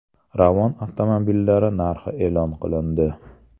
Ravon avtomobillari narxi e’lon qilindi.